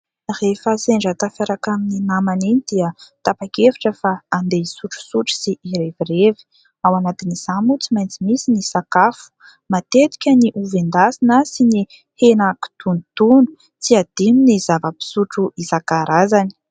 Rehefa sendra tafiaraka amin'ny namana iny dia tapa-kevitra fa andeha hisotrosotro sy hirevirevy, ao anatin'izany moa tsy maintsy misy ny sakafo, matetika ny ovy endasina sy ny hena kitonotono, tsy adino ny zava-pisotro isan-karazany.